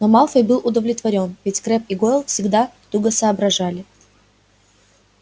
но малфой был удовлетворён ведь крэбб и гойл всегда туго соображали